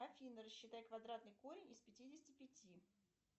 афина рассчитай квадратный корень из пятидесяти пяти